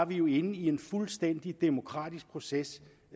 vi jo inde i en fuldstændig demokratisk proces